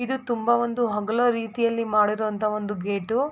ಇದು ತುಂಬಾ ಒಂದು ಹೊಗಳೋ ರೀತಿಯಲ್ಲಿ ಮಾಡಿರೋ ಅಂತ ಒಂದು ಗೇಟ್ .